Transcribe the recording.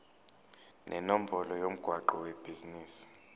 nenombolo yomgwaqo webhizinisi